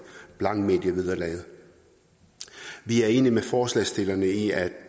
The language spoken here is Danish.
blankmedievederlaget vi er enige med forslagsstillerne i at